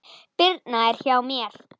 Birna er hjá mér.